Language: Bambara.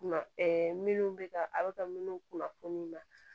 minnu bɛ ka a bɛ ka minnu kunnafoni na